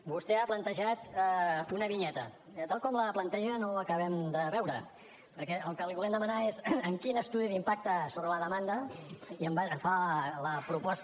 vostè ha plantejat una vinyeta tal com la planteja no ho acabem de veure perquè el que li volem demanar és en quin estudi d’impacte sobre la demanda fa la proposta